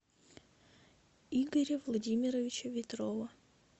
игоря владимировича ветрова